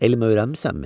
Elm öyrənmisənmi?